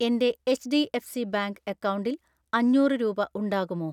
എൻ്റെ HDFC bank അക്കൗണ്ടിൽ അഞ്ഞൂറ് രൂപ ഉണ്ടാകുമോ?